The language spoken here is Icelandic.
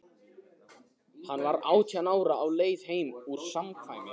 Hann var átján ára, á leið heim úr samkvæmi.